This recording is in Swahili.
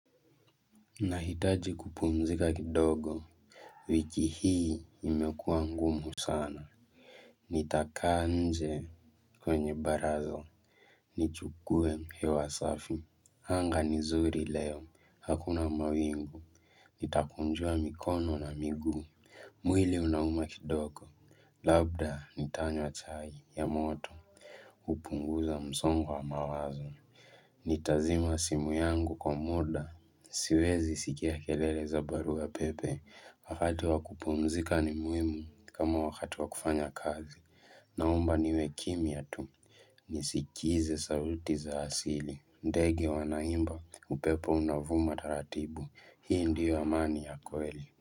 Nahitaji kupumzika kidogo wiki hii imekuwa ngumu sana Nitakaanje kwenye barazo nichukue hewa safi. Hanga nizuri leo Hakuna mawingu Nitakunjua mikono na miguu hh mh mwili unauma kidogo Labda nitanywa chai ya moto mchh Upunguza msongo wa mawazo Nitazima simu yangu kwa muda ss Siwezi sikia kelele za baru ya pepe wakati wakupumzika ni muhimu kama wakati wakufanya kazi na omba niwe kimia tu hh nh nisikize sauti za asili ndege wanaimba upepo unavuma taratibu hii ndio amani ya kweli.